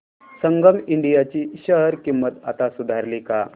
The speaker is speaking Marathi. संगम इंडिया ची शेअर किंमत आता सुधारली का